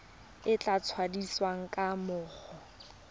e e tladitsweng ga mmogo